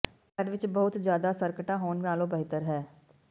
ਇੱਕ ਘਰ ਵਿੱਚ ਬਹੁਤ ਜ਼ਿਆਦਾ ਸਰਕਟਾਂ ਹੋਣ ਨਾਲੋਂ ਬਿਹਤਰ ਹੈ